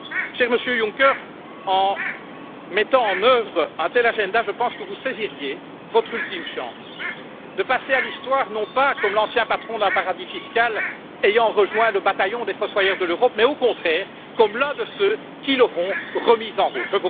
Cher Monsieur Juncker, en mettant en œuvre un tel agenda, je pense que vous saisiriez votre ultime chance de passer à l'histoire, non pas comme l'ancien patron d'un paradis fiscal ayant rejoint le bataillon des fossoyeurs de l'Europe, mais au contraire comme l'un de ceux qui l'auront remise en route.